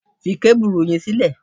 Fi kábùrù yẹn sílẹ̀!